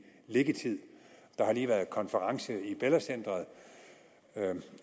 liggetid der har lige været en konference i bella center